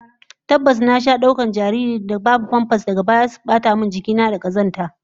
Tabbas, na sha daukar jarirai babu famfas, daga baya suzo su bata min jiki na da kazanta